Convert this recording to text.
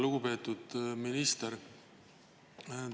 Lugupeetud minister!